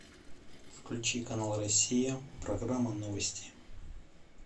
включи канал россия программа новости